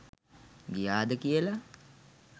ගියාද කියලා?